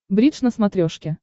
бридж на смотрешке